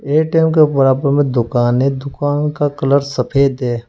ATM के बराबर में दुकान है दुकान का कलर सफेद है।